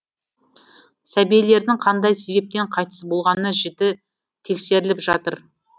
сәбилердің қандай себептен қайтыс болғаны жіті тексеріліп жатыр